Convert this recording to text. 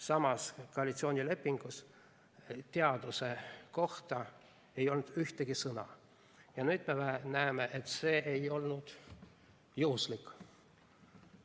Samas, koalitsioonilepingus ei olnud teaduse kohta ühtegi sõna ja nüüd me näeme, et see ei olnud juhuslik.